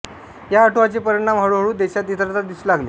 या उठावाचे परिणाम हळू हळू देशात इतरत्र दिसू लागले